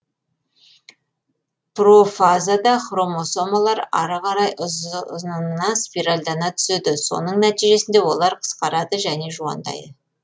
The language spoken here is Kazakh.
профазада хромосомалар ары қарай ұзынынан спиральдана түседі соньң нәтижесінде олар қысқарады және жуандайды